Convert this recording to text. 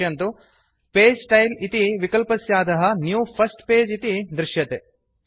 पश्यन्तु page style इति विकल्पस्याधः न्यू फर्स्ट पगे इति दृश्यते